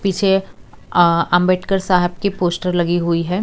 पीछे आ अंबेडकर साहब की फोटो लगी है।